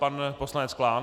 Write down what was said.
Pan poslanec Klán.